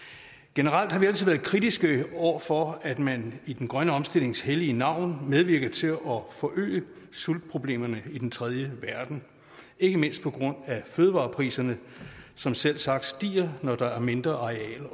generelt har vi altid været kritiske over for at man i den grønne omstillings hellige navn medvirker til at forøge sultproblemerne i den tredje verden ikke mindst på grund af fødevarepriserne som selvsagt stiger når der er et mindre areal